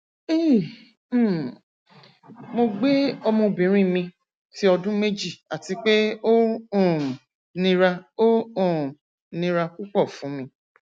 hi um mo gbe ọmọbinrin mi ti ọdun meji ati pe o um nira o um nira pupọ fun mi